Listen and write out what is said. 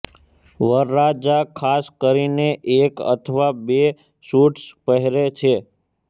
વરરાજા ખાસ કરીને એક અથવા બે સુટ્સ પહેરે છે